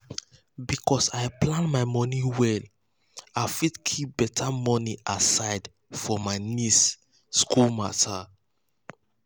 because i plan my money well i fit keep better money aside for my nieces school matter. nieces school matter.